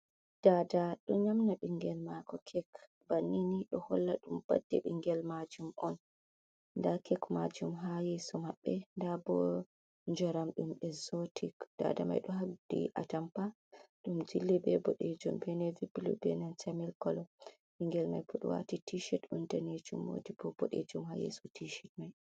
Daada ɗo nyaamna ɓinngel maako kek banni ni ɗo holla ɗum badde ɓinngel maajum on ndaa kek maajum haa yeeso maɓɓe ndaa boo njaram ɗum exzotic daada mai ɗo haddi atampa ɗo jilli bee boɗeejum bee nevi bulu bee na semi colo, ɓinngel mai waati tii shed on daneejum oldi boo boɗeejum haa yeeso tii shed mai.